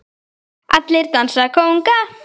Allir dansa kónga